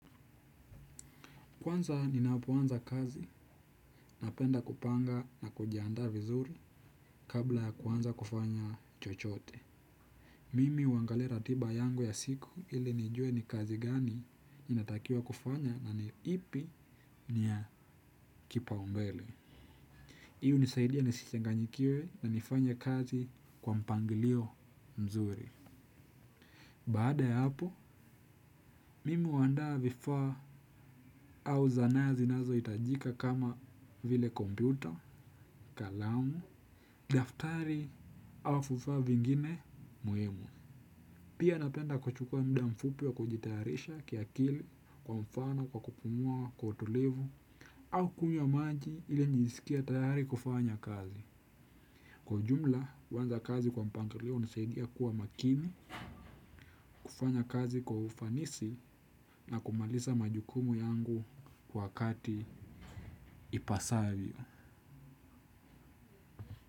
Kwanza ninapoanza kazi napenda kupanga na kujiandaa vizuri kabla kuanza kufanya chochote. Mimi huangalia ratiba yangu ya siku ili nijue ni kazi gani ninatakiwa kufanya na ni ipi ni ya kipaumbele. Hii hunisaidia nisichanganyikiwe na nifanye kazi kwa mpangilio mzuri. Baada ya hapo, mimi huandaa vifaa au zana zinazohitajika kama vile kompyuta, kalamu, daftari au vifaa vingine muhimu. Pia napenda kuchukua muda mfupi wa kujitayarisha kiakili kwa mfano kwa kupumua kwa utulivu au kunywa maji ili njisikie tayari kufanya kazi. Kwa jumla, kuanza kazi kwa mpangilio hunisaidia kuwa makini, kufanya kazi kwa ufanisi na kumaliza majukumu yangu kwa wakati ipasavyo.